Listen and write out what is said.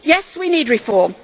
Yes, we need reform